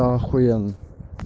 ахуенно